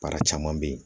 Baara caman bɛ ye